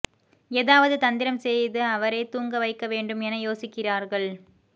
எதாவது தந்திரம் செய்து அவரை தூங்க வைக்க வேண்டும் என யோசிக்கிறார்கள்